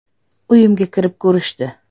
Uyimga kirib ko‘rishdi.